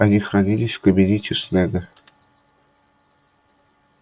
они хранились в кабинете снегга